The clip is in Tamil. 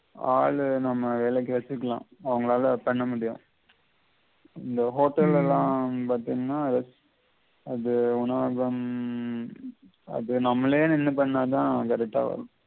ஆளு நம்ம வேளைக்கு வெச்சிக்கலம் அவங்கலால பண்ண முடியும் அந்த உம் hotel எல்லாம் பாதிங்ண்ணா அது one of them அது நம்லே நிண்டு பண்ணா தான்